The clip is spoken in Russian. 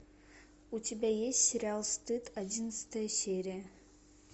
у тебя есть сериал стыд одиннадцатая серия